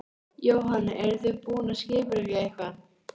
Jóhann: Eruð þið búin að skipuleggja eitthvað?